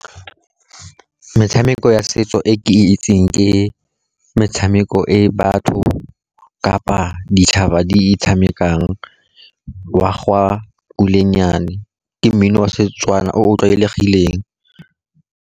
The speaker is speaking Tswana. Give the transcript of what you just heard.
Metshameko ya setso e ke itseng ke metshameko e batho kapa ditšhaba di e tshamekang, wa ga kulenyane ke mmino wa Setswana o o tlwaelegileng.